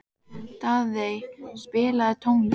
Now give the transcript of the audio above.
Daðey, spilaðu tónlist.